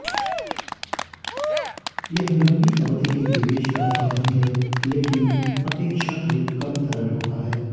यह लंबी अवधि के निवेश का साधन है लेकिन अपेक्षाकृत कम तरल होता है